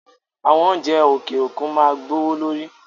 Àwọn oúnjẹ òkè òkun máa gbówó lórí